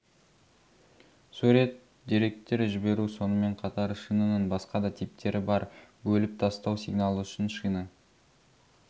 сурет деректер жіберу сонымен қатар шинаның басқа да типтері бар бөліп тастау сигналы үшін шина